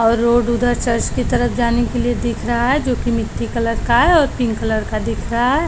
और रोड उधर चर्च की तरफ़ जाने के लिए दिख रहा है जोकि मिट्टी कलर का है और कलर का दिख रहा है।